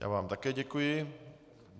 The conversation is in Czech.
Já vám také děkuji.